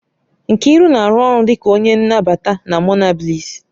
Nkiru na-arụ ọrụ dịka onye nnabata na Monabliss